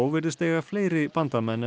virðist eiga fleiri bandamenn en